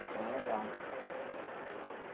Então, é legal.